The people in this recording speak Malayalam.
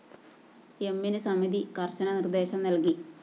എമ്മിന് സമിതി കര്‍ശന നിര്‍ദേശം നല്‍കി